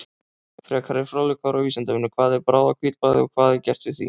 Frekari fróðleikur á Vísindavefnum: Hvað er bráðahvítblæði og hvað er gert við því?